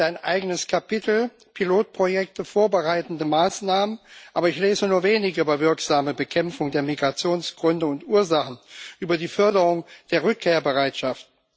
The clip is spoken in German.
Es gibt ein eigenes Kapitel Pilotprojekte, vorbereitende Maßnahmen, aber ich lese nur wenig über wirksame Bekämpfung der Migrationsgründe und ursachen, über die Förderung der Rückkehrbereitschaft.